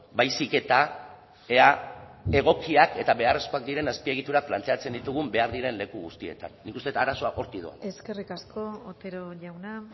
baizik eta ea egokiak eta beharrezkoak diren azpiegiturak planteatzen ditugun behar diren leku guztietan nik uste dut arazoa hortik doala eskerrik asko otero jauna